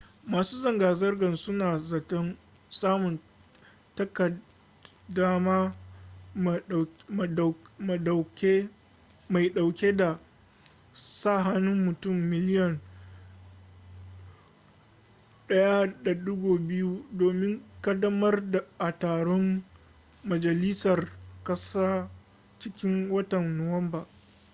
masu zanga-zangar suna zaton samun takaddama mai dauke da sa hannun mutum miliyan 1.2 domin kaddamarwa a taron majalisar kasa cikin watan nuwamba